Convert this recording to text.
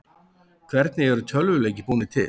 Hvernig eru tölvuleikir búnir til?